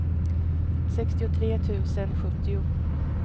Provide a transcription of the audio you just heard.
sextiotre tusen sjuttio